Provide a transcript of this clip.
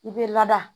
I bɛ lada